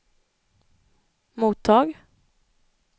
mottag